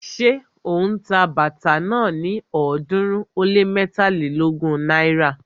Ṣé ó ń ta bàtà náà ní ọ̀ọ́dúnrún ó lé mẹ́tàlélógún náírà?